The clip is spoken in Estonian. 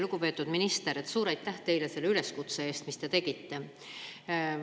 Lugupeetud minister, suur aitäh teile selle üleskutse eest, mis te tegite!